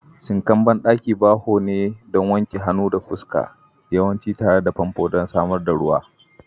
Sinkan bandaki bawo ne don wanke hannu da fuska, yawanci tare da famfo don samar da ruwa.